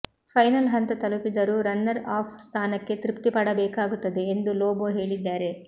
final ಹಂತ ತಲುಪಿದರೂ runner up ಸ್ಥಾನಕ್ಕೆ ತೃಪ್ತಿ ಪಡಬೇಕಾಗುತ್ತದೆ ಎಂದು ಲೊಬೋ ಹೇಳಿದ್ದಾರೆ